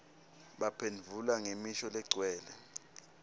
baphendvula ngemisho legcwele